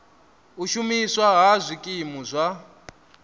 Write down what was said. u shumiswa ha zwikimu zwa